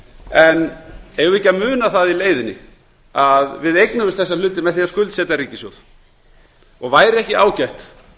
en eigum við ekki að muna það í leiðinni að við eignuðumst þessa hluti með því að skuldsetja ríkissjóð væri ekki ágætt